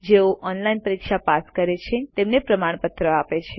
જેઓ ઓનલાઇન પરીક્ષા પાસ કરે છે તેમને પ્રમાણપત્ર આપે છે